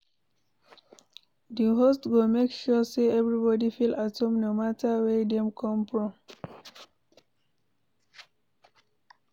Di host go make sure say everybody feel at home no matter where dem come from